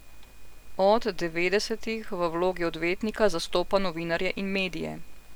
Od devetdesetih v vlogi odvetnika zastopa novinarje in medije.